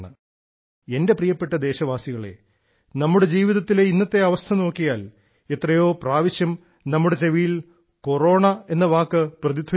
എന്റെ പ്രിയപ്പെട്ട ദേശവാസികളെ നമ്മുടെ ജീവിതത്തിലെ ഇന്നത്തെ അവസ്ഥ നോക്കിയാൽ എത്രയോ പ്രാവശ്യം നമ്മുടെ ചെവിയിൽ കൊറോണ എന്ന വാക്ക് പ്രതിധ്വനിക്കുന്നു